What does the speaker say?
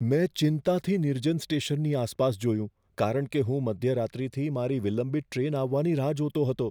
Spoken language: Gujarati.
મેં ચિંતાથી નિર્જન સ્ટેશનની આસપાસ જોયું કારણ કે હું મધ્યરાત્રિથી મારી વિલંબિત ટ્રેન આવવાની રાહ જોતો હતો.